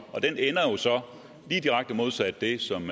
direkte modsat det som